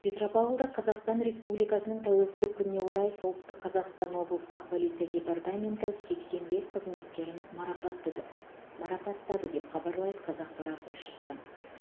петропавлда қазақстан республикасының тәуелсіздік күніне орай солтүстік қазақстан облыстық полиция департаменті сексен бес қызметкерін марапаттыды марапаттады деп хабарлайды қазақпарат тілшісі